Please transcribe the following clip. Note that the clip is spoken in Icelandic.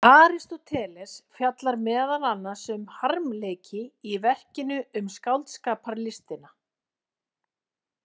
Aristóteles fjallar meðal annars um harmleiki í verkinu Um skáldskaparlistina.